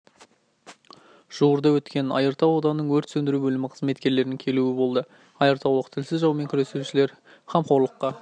жуырда өткен айыртау ауданының өрт сөндіру бөлімі қызметкерлерінің келуі болды айыртаулық тілсіз жаумен күресушілер қамқорлыққа